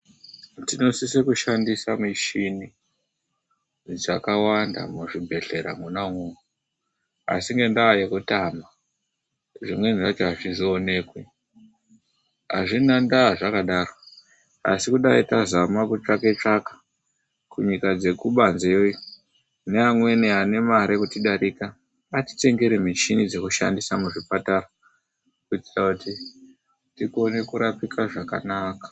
Tinosisa kushandisa michini dzakawanda muzvibhedhlera mona imomo asi ngenda yekutama zvimweni zvacho azvizoonekwi azvina ndaa zvakadaro asi kudai tazama kutsvaka tsvaka kunyika dzekubanze yo neamweni ane mare kutidarika atitengere michini yekushandisa muzvipatara kuitira kuti tikone kurapike zvakanaka.